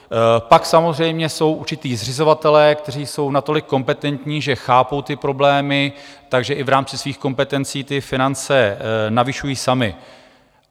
Pak samozřejmě jsou určití zřizovatelé, kteří jsou natolik kompetentní, že chápou ty problémy, takže i v rámci svých kompetencí ty finance navyšují sami.